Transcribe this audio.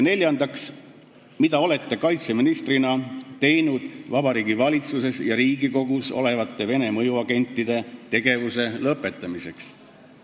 " Neljandaks: "Mida olete kaitseministrina teinud Vabariigi Valitsuses ja Riigikogus olevate Vene mõjuagentide tegevuse lõpetamiseks?